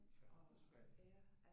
Færgen forsvandt